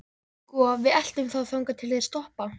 Sko. við eltum þá þangað til þeir stoppa.